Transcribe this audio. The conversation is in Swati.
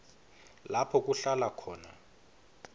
lapho kuhlala khona